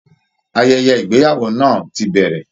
Ayẹyẹ ìgbéyàwó náà ti bẹ̀rẹ̀